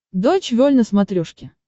дойч вель на смотрешке